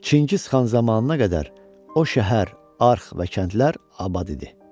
Çingiz xan zamanına qədər o şəhər, arx və kəndlər abad idi.